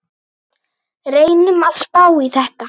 Reynum að spá í þetta.